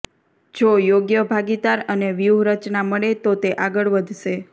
જો યોગ્ય ભાગીદાર અને વ્યૂહરચના મળે તો તે આગળ વધશે